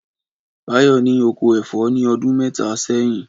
Báyọ̀ ní oko ẹ̀fọ́ ní ọdún mẹ́ta sẹ́yìn.